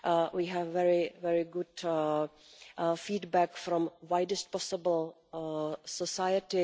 We have very good feedback from the widest possible society.